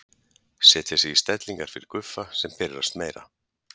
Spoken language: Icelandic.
Setja sig í stellingar fyrir Guffa sem pirrast meira.